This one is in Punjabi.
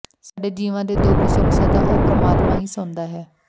ਸਾਡੇ ਜੀਵਾਂ ਦੇ ਦੁੱਖ ਸੁੱਖ ਸਦਾ ਉਹ ਪਰਮਾਤਮਾ ਹੀ ਸੁਣਦਾ ਹੈ